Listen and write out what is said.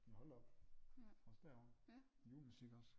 Ja hold da op også derovre julemusik også